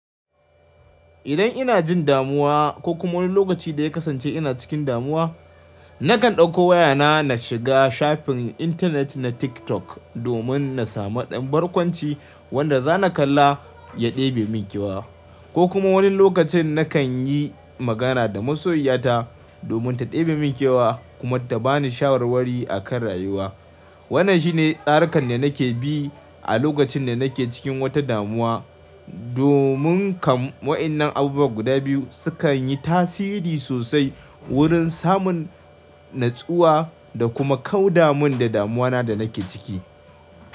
Idan ina jin damuwa ko kuma wani lokaci da ya kasance ina cikin damuwa, nakan ɗauko wayana na shiga shafin intanet na TikTok domin na samu ɗan barkwanci wanda za na kalla ya ɗebe min kyewa. Ko kuma wani lokacin nakan yi magana da masoyiyata domin ta ɗebe min kewa kuma ta ba ni shawarwari a kan rayuwa. Wannan shine tsarikan da nake bi a lokacin da nake cikin wata damuwa domin kam wayannan abubuwa guda biyu sukan yi tasiri sosai wurin samun natsuwa da kuma kauda min da damuwa da nake ciki.